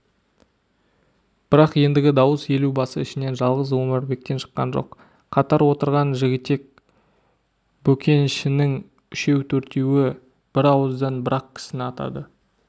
бірақ ендігі дауыс елубасы ішінен жалғыз омарбектен шыққан жоқ қатар отырған жігітек бөкеншінің үшеу-төртеуі бірауыздан бір-ақ кісіні атады